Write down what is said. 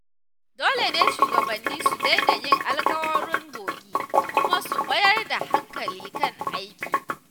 Dole ne shugabanni su daina yin alkawuran bogi kuma su mayar da hankali kan aiki.